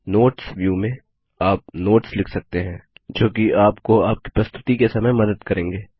notes view में आप notes लिख सकते हैं जो कि आपको आपकी प्रस्तुति के समय मदद करेंगे